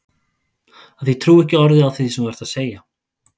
Af því að ég trúi ekki orði af því sem þú ert að segja.